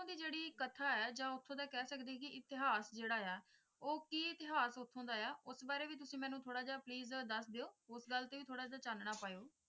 ਦਿ ਜੇੜੀ ਕਥਾ ਹੈ ਜਾ ਉਥੋਂ ਦਿ ਕਹਿ ਸਕਦੇ ਹੈ ਕਿ ਇਤਿਹਾਸ ਜੇੜਾ ਆ ਉਹ ਕਿ ਇਤਿਹਾਸ ਉਥੋਂ ਦਾ ਆ ਉਸ ਬਾਰੇ ਤੁਸੀ ਮੈਨੂੰ ਥੋੜਾ ਜੇਹਾ please ਦੱਸ ਦੇਯੋ ਉਸ ਗੱਲ ਤੇ ਵੀ ਥੋੜਾ ਜੇਹਾ ਚੰਨੜਾ ਪਾਯੋ ।